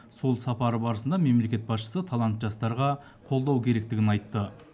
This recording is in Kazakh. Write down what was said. сол сапары барысында мемлекет басшысы талантты жастарға қолдау керектігін айтты